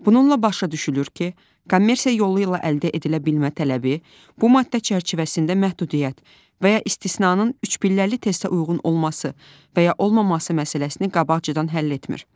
Bununla başa düşülür ki, kommersiya yolu ilə əldə edilə bilmə tələbi bu maddə çərçivəsində məhdudiyyət və ya istisnanın üç pilləli testə uyğun olması və ya olmaması məsələsini qabaqcadan həll etmir.